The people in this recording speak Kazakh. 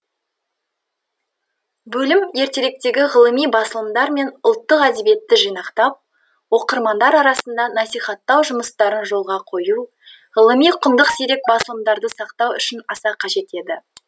бөлім ертеректегі ғылыми басылымдар мен ұлттық әдебиетті жинақтап оқырмандар арасында насихаттау жұмыстарын жолға қою ғылыми құнды сирек басылымдарды сақтау үшін аса қажет еді